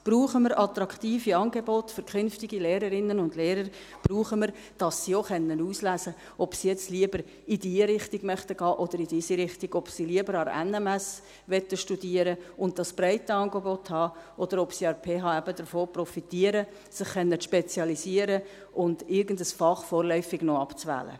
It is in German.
wir brauchen attraktive Angebote für künftige Lehrerinnen und Lehrer und wir brauchen es, dass sie auch auswählen können, ob sie jetzt lieber in diese oder in jene Richtung gehen möchten, ob sie lieber an der NMS studieren möchten und das breite Angebot haben möchten oder ob sie an der PH davon profitieren, sich spezialisieren zu können und irgendein Fach vorläufig noch abzuwählen.